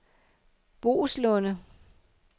Boeslunde